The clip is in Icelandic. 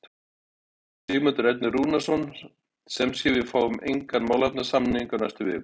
Sigmundur Ernir Rúnarsson: Sem sé, við fáum engan málefnasamning á næstu vikum?